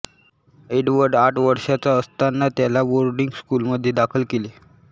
Edward आठ वर्षांचा असताना त्याला बोर्डिंग स्कूलमध्ये दाखल केले